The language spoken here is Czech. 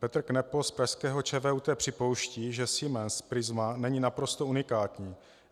Petr Kneppo z pražského ČVUT připouští, že Siemens Prisma není naprosto unikátní.